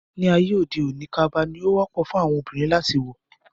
Ní ayé òde òní, kaba ni ó wọ́pọ̀ fún àwọn Obìnrin láti wọ̀